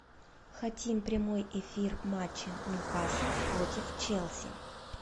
хотим прямой эфир матча ньюкасл против челси